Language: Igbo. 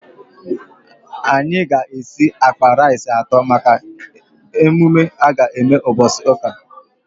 Anyị ga esi akpa rice atọ maka emume aga eme mgbọsị ụka